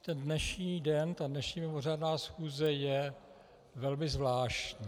Ten dnešní den, ta dnešní mimořádná schůze je velmi zvláštní.